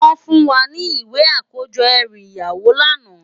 Wòn fún wá ni iwé àkójò èrú iyáwó làná